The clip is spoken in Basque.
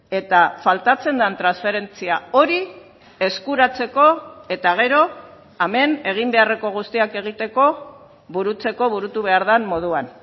eta faltatzen den transferentzia hori eskuratzeko eta gero hemen egin beharreko guztiak egiteko burutzeko burutu behar den moduan